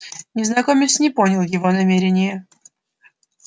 незнакомец не понял его намерения